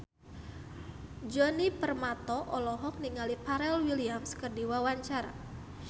Djoni Permato olohok ningali Pharrell Williams keur diwawancara